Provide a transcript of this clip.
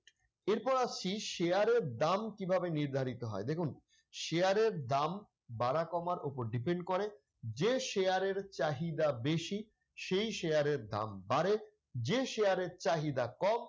এরপর আসছি share এর দাম কিভাবে নির্ধারিত হয় দেখুন share এর দাম বাড়া কমার উপর depend করে যে share এর চাহিদা বেশি, সেই share এর দাম বাড়ে যে share এর চাহিদা কম,